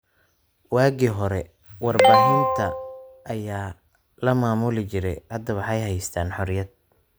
Waagii hore warbaahinta ayaa la maamuli jiray. Hadda waxay haystaan ??xorriyad.